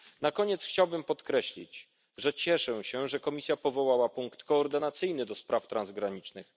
i uzasadnione. Na koniec chciałbym podkreślić, że cieszę się, że Komisja powołała punkt koordynacyjny do spraw